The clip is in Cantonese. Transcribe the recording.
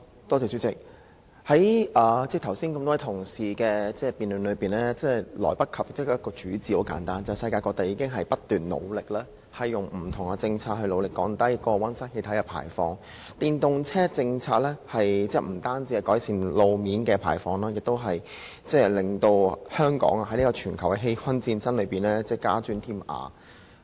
代理主席，多位同事剛才的辯論離不開一個主旨，就是世界各地正努力透過不同政策降低溫室氣體排放，而電動車政策不單可以改善路邊空氣污染排放，亦可使香港在打擊全球氣溫上升的戰爭中加磚添瓦。